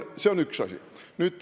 See on üks asi.